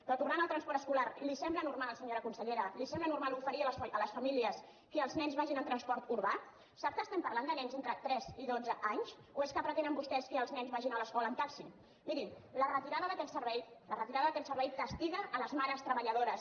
però tornant al transport escolar li sembla normal senyora consellera li sembla normal oferir a les famílies que els nens vagin en transport urbà sap que estem parlant de nens entre tres i dotze anys o és que pretenen vostès que els nens vagin a l’escola en taxi miri la retirada d’aquest servei castiga les mares treballadores